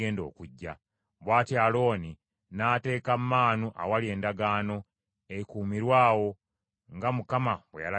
Bw’atyo Alooni n’ateeka maanu awali Endagaano, ekuumirwe awo, nga Mukama bwe yalagira Musa.